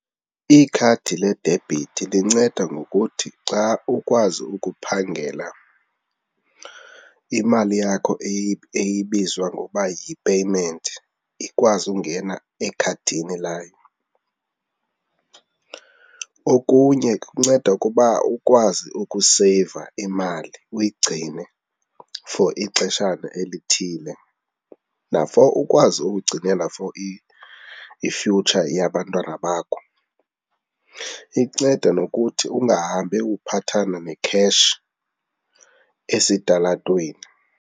Ikhadi le debhithi linceda ngokuthi xa ukwazi ukuphangela, imali yakho eye ibizwa ngoba yi-payment ikwazi ukungena ekhadini layo. Okunye kunceda ukuba ukwazi ukuseyiva imali, uyigcine for ixeshana elithile na-for ukwazi ukugcinela for i-future yabantwana bakho. Inceda nokuthi ungahambi uphathana ne-cash esitalatweni.